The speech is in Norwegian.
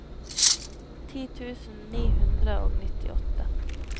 ti tusen ni hundre og nittiåtte